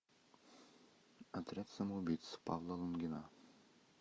отряд самоубийц павла лунгина